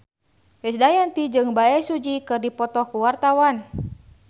Krisdayanti jeung Bae Su Ji keur dipoto ku wartawan